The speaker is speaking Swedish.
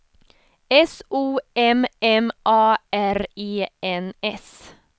S O M M A R E N S